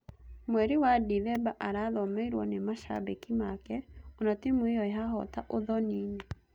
Mweri wa Ndithemba arathomeirwo nĩ macambĩki make ona-timu ĩyo yahoota Uthoniinĩ.